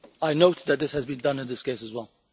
I note that this has been done in this case as well.